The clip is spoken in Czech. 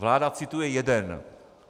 Vláda cituje jeden.